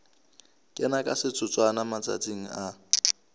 kena ka setotswana matsatsing a